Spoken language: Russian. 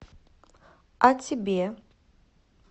о тебе